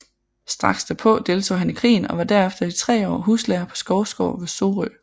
Strax derpå deltog han i krigen og var derefter i 3 år huslærer på Skovsgaard ved Sorø